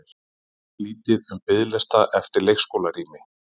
Lítið um biðlista eftir leikskólarými